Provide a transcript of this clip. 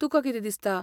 तुका कितें दिसता?